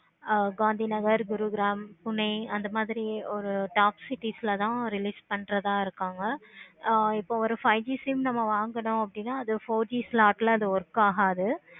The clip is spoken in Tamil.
ஆஹ் காந்தி நகர் குறுகிராம் pune அந்த மாதிரி ஒரு top city ல தான் introduce பண்றவங்கள இருக்காங்க. ஆஹ் இப்ப ஒரு five G sim நம்ம வாங்கணும் அப்படின்னா அது four G slack ல அது work ஆகாது.